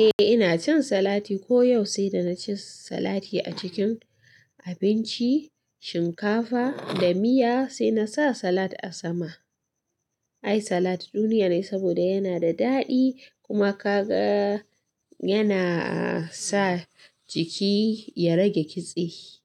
Eh ina cin salati ko yau sai da na ci salati a cikin abinci, shinkafa da miya sai na sa salad a sama. Ai salad duniya ne saboda yana da daɗi kuma ka ga yana sa jiki ya rage kitse.